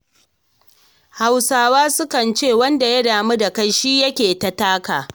Hausawa kan ce wanda ya damu da kai shi yake ta taka.